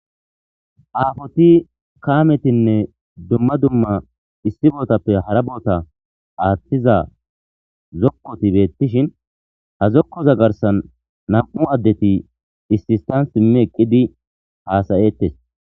Aafoti kaametinne dumma dumma issi bootappe hara boota aaththiza zokkoti beettishin ha zokkoza garsan nam7u addeti issistan simmi eqqidi haasayettes.